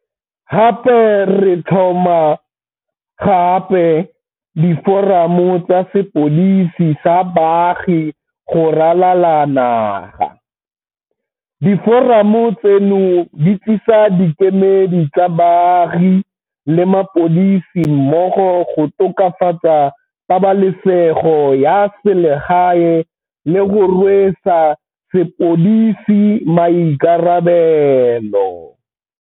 Gape re tlhoma gape diforamo tsa sepodisi sa baagi go ralala naga. Diforamo tseno di tlisa dikemedi tsa baagi le mapodisi mmogo go tokafatsa pabalesego ya selegae le go rwesa sepodisi maikarabelo.